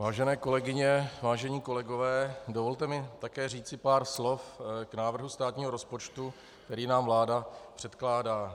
Vážené kolegyně, vážení kolegové, dovolte mi také říci pár slov k návrhu státního rozpočtu, který nám vláda předkládá.